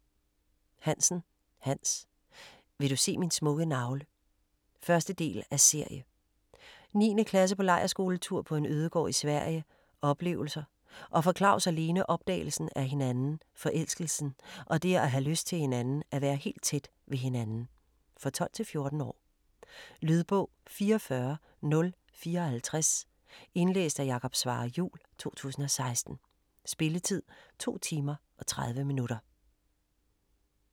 Hansen, Hans: Vil du se min smukke navle? 1. del af serie. 9. klasse på lejrskoletur på en ødegård i Sverige - oplevelser - og for Claus og Lene opdagelsen af hinanden, forelskelsen, og det at have lyst til hinanden, at være helt tæt ved hinanden. For 12-14 år. Lydbog 44054 Indlæst af Jakob Svarre Juhl, 2016. Spilletid: 2 timer, 30 minutter.